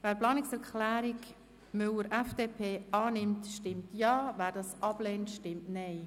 Wer diese annimmt, stimmt Ja, wer diese ablehnt, stimmt Nein.